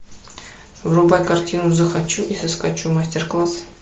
врубай картину захочу и соскочу мастер класс